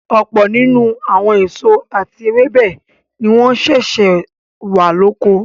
Ọ̀pọ̀ nínú àwọn èso àti ewébẹ̀ ni wọ́n sẹ̀sẹ̀ wà lóko.